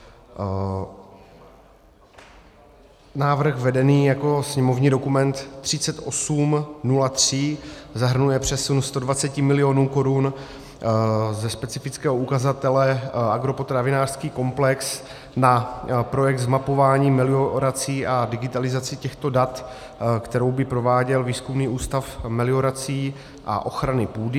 Návrh vedený jako sněmovní dokument 3803 zahrnuje přesun 120 milionů korun ze specifického ukazatele agropotravinářský komplex na projekt zmapování meliorací a digitalizaci těchto dat, kterou by prováděl Výzkumný ústav meliorací a ochrany půdy.